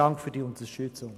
Dank für die Unterstützung.